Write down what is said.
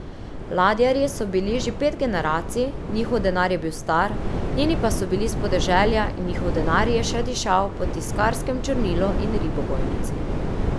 Ladjarji so bili že pet generacij, njihov denar je bil star, njeni pa so bili s podeželja in njihov denar je še dišal po tiskarskem črnilu in ribogojnici.